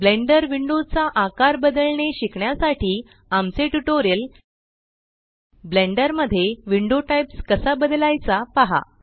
blender window चा आकार बदलणे शिकण्यासाठी आमचे ट्यूटोरियल ब्लेंडर मध्ये विंडो टाइप्स कसा बदलायचा पहा